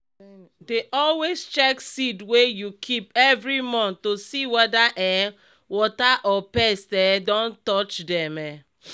dey always check seed wey you keep every month to see whether um water or pest um don touch dem. um